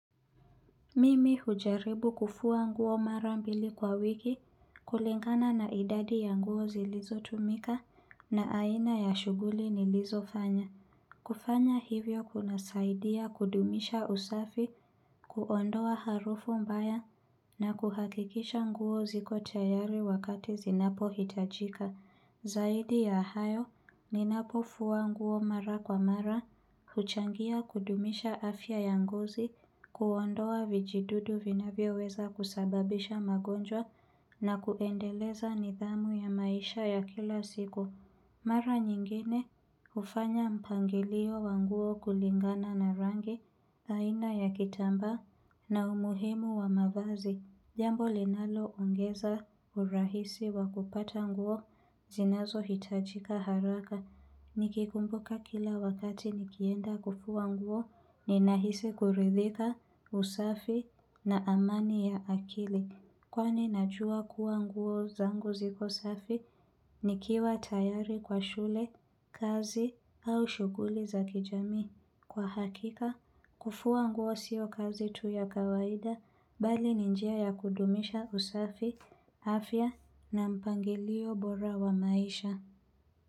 Mimi hujaribu kufua nguo mara mbili kwa wiki, kulingana na idadi ya nguo zilizotumika na aina ya shughuli nilizofanya. Kufanya hivyo kunasaidia kudumisha usafi, kuondoa harufu mbaya na kuhakikisha nguo ziko tayari wakati zinapohitajika. Zaidi ya hayo, ninapofua nguo mara kwa mara, huchangia kudumisha afya ya ngozi, kuondoa vijidudu vinavyoweza kusababisha magonjwa na kuendeleza nidhamu ya maisha ya kila siku. Mara nyingine hufanya mpangilio wa nguo kulingana na rangi, aina ya kitamba na umuhimu wa mavazi. Jambo linaloongeza urahisi wa kupata nguo zinazohitajika haraka. Nikikumbuka kila wakati nikienda kufua nguo, ninahisi kuridhika, usafi na amani ya akili. Kwani najua kuwa nguo zangu ziko safi nikiwa tayari kwa shule, kazi au shughuli za kijamii. Kwa hakika, kufua nguo sio kazi tu ya kawaida, bali ni njia ya kudumisha usafi, afya na mpangilio bora wa maisha.